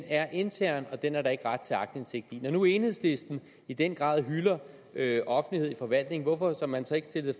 er intern og den er der ikke ret til aktindsigt i når nu enhedslisten i den grad hylder offentlighed i forvaltningen hvorfor har man så ikke stillet